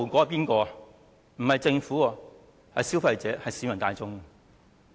不是政府，而是消費者、市民大眾。